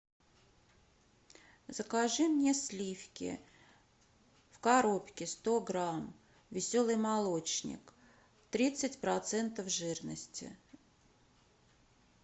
закажи мне сливки в коробке сто грамм веселый молочник тридцать процентов жирности